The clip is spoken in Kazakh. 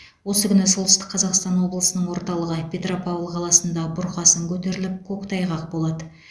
осы күні солтүстік қазақстан облысының орталығы петропавл қаласында бұрқасын көтеріліп көктайғақ болады